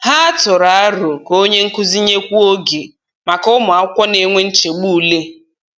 Ha tụrụ aro ka onye nkuzi nyekwuo oge maka ụmụ akwụkwọ na-enwe nchegbu ule.